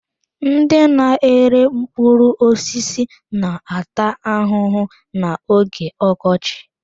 Ndị na-ere mkpụrụ osisi na-ata ahụhụ n'oge ọkọchị.